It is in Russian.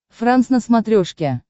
франс на смотрешке